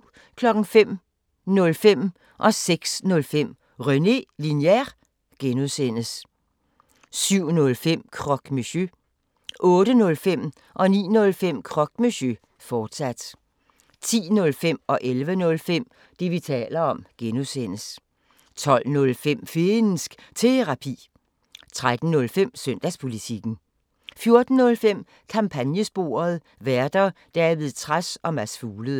05:05: René Linjer (G) 06:05: René Linjer (G) 07:05: Croque Monsieur 08:05: Croque Monsieur, fortsat 09:05: Croque Monsieur, fortsat 10:05: Det, vi taler om (G) 11:05: Det, vi taler om (G) 12:05: Finnsk Terapi 13:05: Søndagspolitikken 14:05: Kampagnesporet: Værter: David Trads og Mads Fuglede